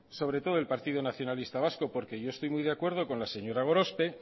sobre todo del partido nacionalista vasco porque yo estoy muy de acuerdo con la señora gorospe